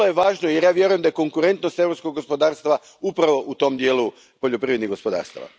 Vrlo je važno, jer ja vjerujem da je konkurentnost europskog gospodarstva upravo u tom dijelu poljoprivrednih gospodarstava.